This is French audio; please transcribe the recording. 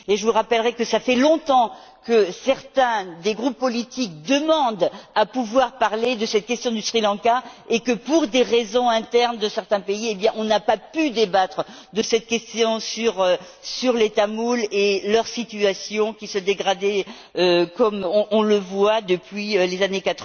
Je vous rappellerai que cela fait longtemps que certains des groupes politiques demandent à pouvoir parler de cette question du Sri Lanka et que pour des raisons internes de certains pays, on n'a pas pu débattre de cette question sur les Tamouls et leur situation, qui s'est dégradée depuis les années